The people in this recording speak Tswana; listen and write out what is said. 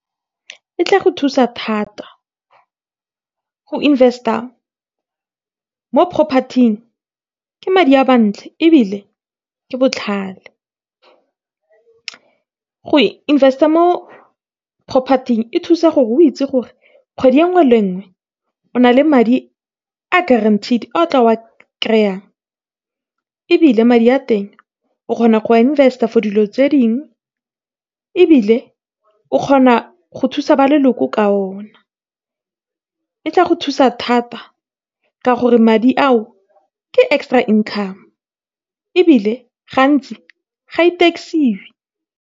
E tla go thusa thata go invest-a mo property-ing. Ke madi a mantle, ebile ke botlhale go invest-a mo property-ing. E thusa gore o itse gore kgwedi e nngwe le e nngwe o na le madi a guaranteed ao tla kry-ang. Ebile, madi a teng o kgona go invest-a for dilo tse dingwe. Ebile, o kgona go thusa ba leloko ka o na. E tla go thusa thata ka gore madi ao ke extra income, ebile gantsi ga e tax-iwe.